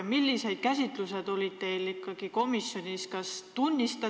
Millised käsitlused teil ikkagi komisjonis olid?